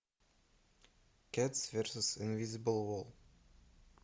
кэтс версус инвизибл вол